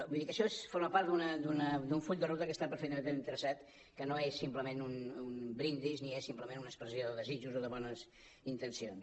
vull dir que això forma part d’un full de ruta que està perfectament traçat que no és simplement un brindis ni és simplement una expressió de desitjos o de bones intencions